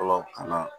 Fɔlɔ ka na